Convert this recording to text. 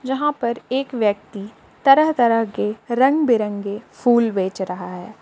यहां पर एक व्यक्ति तरह तरह के रंग बिरंगे फूल बेच रहा है।